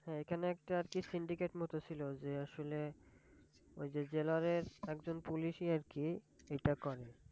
হ্যাঁ এখানে একটা আর কি Syndicate মতো ছিল যে আসলে ওই যে জেলারের একজন Police ই আর কি এইটা করে